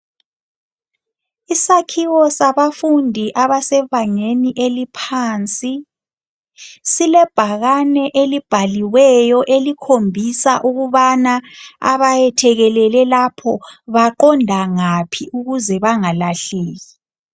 Isakhiwo sabafundi abaphansi silebhakane elibhaliweyo elikhombisa ukubana abayethekelele lapho baqonda ngaphi ukuze bangalahleki.